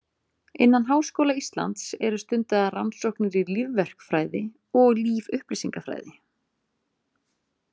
Innan Háskóla Íslands eru stundaðar rannsóknir í lífverkfræði og lífupplýsingafræði.